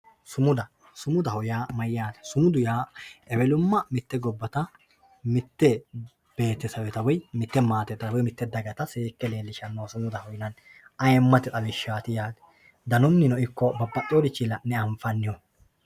Sumuda, sumudaho yaa mayatte, sumudu yaa ewelumma mite gobata mite beetesewetta woyi mite maatetta woyi dagatta seeke leelishanoha sumudaho yinanni. ayyimatte xawishati yaate danunni ikko babaxiworichini la'nebanfanniho.